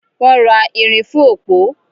Wọ́n ra ìrìn fún òpó.